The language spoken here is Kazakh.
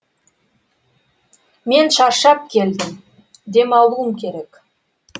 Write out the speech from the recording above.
мен шаршап келдім дем алуым керек